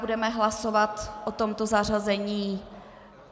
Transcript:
Budeme hlasovat o tomto zařazení.